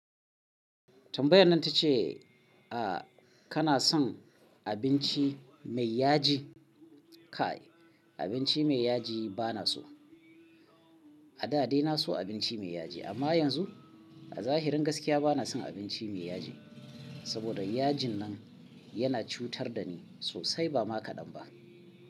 Tambayan nan ta ce, a kana son abinci mai yaji? Kai abinci mai yaji bana so. A da dai na so abinci mai yaji amma yanzu a zahirin gaskiya bana son abinci mai yaji. Saboda yajin nan yana cutar da ni sosai ba ma kaɗan ba.